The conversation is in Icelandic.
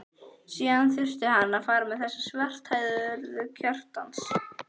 Síðan þurfti hann að fara með þessa svarthærðu til Kjartans.